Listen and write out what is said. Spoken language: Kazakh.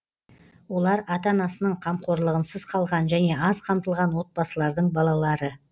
олар ата анасының қамқорлығынсыз қалған және аз қамтылған отбасылардың балалары